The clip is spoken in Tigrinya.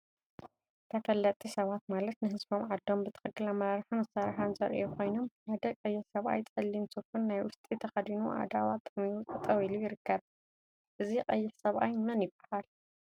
ተፈለጥቲ ሰባት ማለት ንህዝቦምን ዓዶምን ብትክክል አመራርሓን አሰራርሓን ዘርአዩ ኮይኖም፤ ሓደ ቀይሕ ሰብአይ ፀሊም ሱፍን ናይ ውሽጢን ተከዲኑ አእዳው አጣሚሩ ጠጠወ ኢሉ ይርከብ፡፡ እዚ ቀይሕ ሰብአይ መን ይበሃል?